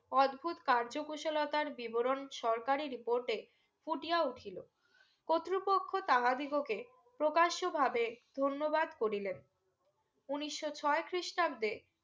অদ্ভুত কার্য কুশলতার বিবরণ সরকারি report এ ফুটিয়া উঠিল কর্তৃপক্ষ তাহাদিগো কে প্রকাশ ভাবে ধন্যবাদ করিলেন উনিশশো ছয় খ্রিস্টাব্দে